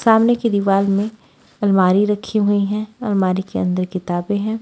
सामने की दीवार में अलमारी रखी हुई हैं अलमारी के अंदर किताबें हैं।